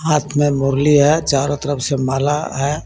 हाथ में मुरली है चारो तरफ़ से माला है.